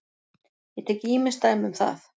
Ég tek ýmis dæmi um það.